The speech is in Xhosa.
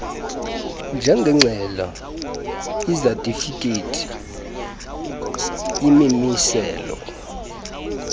njengeengxelo izatifikhethi imimiselo